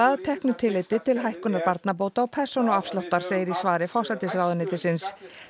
að teknu tilliti til hækkunar barnabóta og persónuafsláttar segir í svari forsætisráðuneytisins